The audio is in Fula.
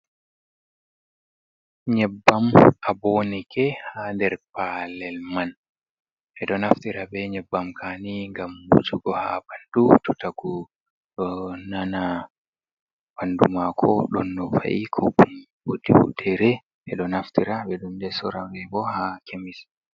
Nyebbam abonike haa nder paalel man. Ɓe ɗo naftira bee nyebbam ka'a nii ngam wujugo haa ɓanndu to tagu ɗo nana ɓanndu maako ɗon no va’i kopi woodi futtere. Ɓe ɗo naftira bee ɓe ɗo soora boo haa kemis.